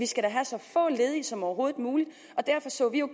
skal have så få ledige som overhovedet muligt og derfor så vi jo